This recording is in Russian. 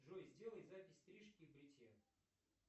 джой сделай запись стрижки и бритья